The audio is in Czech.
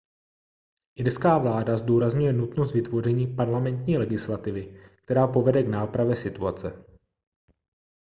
irská vláda zdůrazňuje nutnost vytvoření parlamentní legislativy která povede k nápravě situace